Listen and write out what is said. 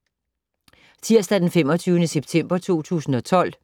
Tirsdag d. 25. september 2012